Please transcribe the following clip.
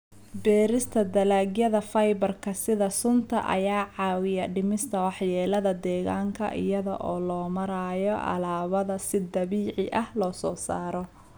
Beerista dalagyada fiber-ka sida suufka ayaa caawiya dhimista waxyeelada deegaanka iyada oo loo marayo alaabada si dabiici ah loo soo saaro.